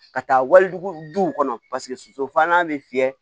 Ka taa wali duw kɔnɔ paseke sosofalan bɛ fiyɛ